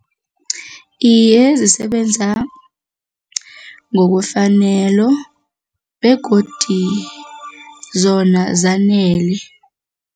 Iye, zisebenza ngokwefanelo begodi zona zanele.